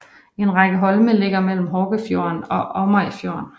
En række holme ligger mellem Horgefjorden og Åmøyfjorden